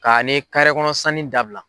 K'ani kɔnɔ sanni dabila.